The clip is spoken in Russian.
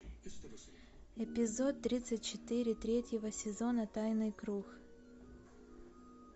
эпизод тридцать четыре третьего сезона тайный круг